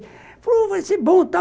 Ele falou, vai ser bom, tá?